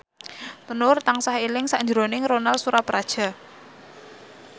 Nur tansah eling sakjroning Ronal Surapradja